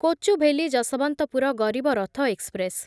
Kochuveli Yesvantpur Garib Rath express